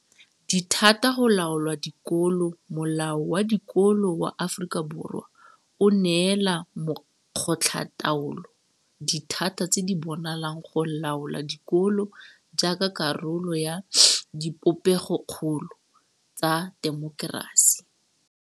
Dithata go laola dikolo Molao wa Dikolo wa Aforika Borwa o neela makgotlataolo dithata tse di bonalang go laola dikolo jaaka karolo ya dipopegokgolo tsa temokerasi.